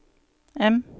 M